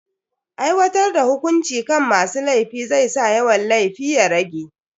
Aiwatar da hukunci kan masu laifi zai sa yawan laifi ya rage.